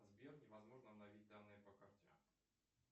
сбер невозможно обновить данные по карте